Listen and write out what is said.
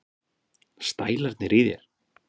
Stælarnir í þér!